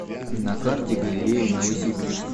на карте галерея новосибирск